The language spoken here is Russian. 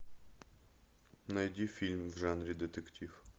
найди фильм в жанре детектив